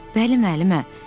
Bəli müəllimə.